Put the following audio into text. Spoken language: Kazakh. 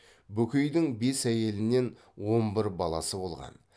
бөкейдің бес әйелінен он бір баласы болған